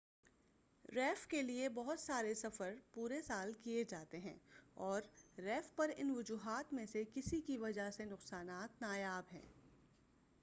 reef کے لئے بہت سارے سفر پورے سال کیے جاتے ہیں اور ریف پر ان وجوہات میں سے کسی کی وجہ سے نقصانات نایاب ہیں